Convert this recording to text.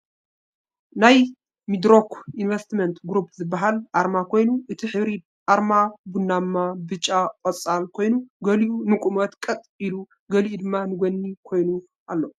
ናይ ሚድሮክ ኢንቨስትመንት ግሩፕ ዝባሃል ኣርማ ኮይኑ እቲ ሕብሪ ኣርማ ቡናማ ፣ ቢጫ፣ ቆፃል፣ ኮይኑ ገሊኡ ንቁመት ቀጥ ኢሉ ገሊኡ ድማ ንጎኒ ኮይኑ ኣሎ ።